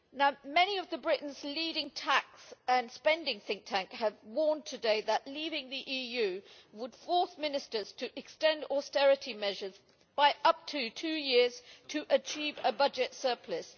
Members of Britain's leading tax and spending think tank have warned today that leaving the EU would force ministers to extend austerity measures by up to two years to achieve a budget surplus.